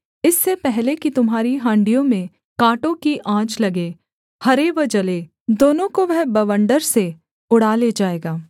इससे पहले कि तुम्हारी हाँड़ियों में काँटों की आँच लगे हरे व जले दोनों को वह बवण्डर से उड़ा ले जाएगा